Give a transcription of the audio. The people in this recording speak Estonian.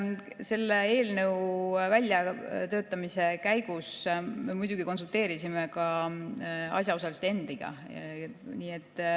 Selle eelnõu väljatöötamise käigus me muidugi konsulteerisime ka asjaosaliste endiga.